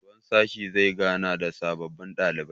shugaban sashe zai gana da sababbin ɗalibai